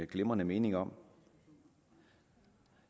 glimrende mening om